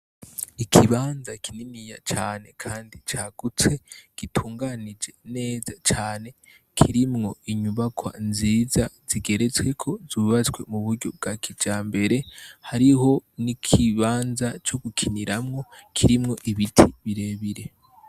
Ikibanza kininiya cane kandi cagutse gitunganije neza cane kirimwo inyubakwa nziza zigeretsweko zubatswe muburyo bwa kijambere hariho nikibanza co gukiniramwo kirimwo ibiti birebire.